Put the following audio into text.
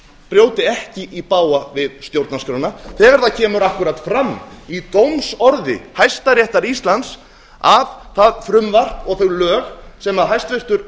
brjóti ekki í bága við stjórnarskrána þegar það kemur akkúrat fram í dómsorði hæstaréttar íslands að það frumvarp og þau lög sem hæstvirtur